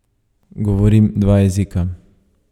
Govorim dva jezika.